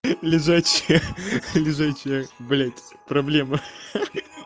лежачая лежачая блять проблема